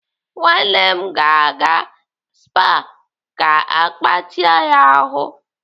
Nwanne m ga-aga SPA ka agbatịa ya ahụ.